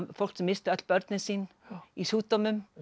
fólk sem missti öll börnin sín í sjúkdómum